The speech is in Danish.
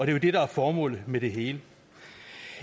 er jo det der er formålet med det hele